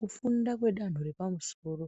Kufunda kwedanho repamusoro